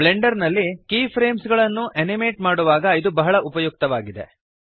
Blender ನಲ್ಲಿ key frames ಗಳನ್ನು animate ಮಾಡುವಾಗ ಇದು ಬಹಳ ಉಪಯುಕ್ತವಾಗಿದೆ